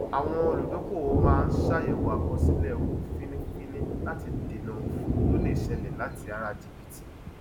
àwọn olùdókòwò máa ń ṣàyẹwò àkọsílẹ owó fínífíní láti dènà òfò tó lè ṣẹlẹ láti ara jìbìtì